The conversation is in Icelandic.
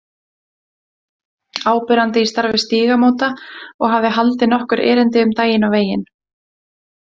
Áberandi í starfi Stígamóta og hafði haldið nokkur erindi um daginn og veginn.